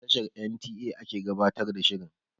A tashar en tee eh ake gabatar da shirin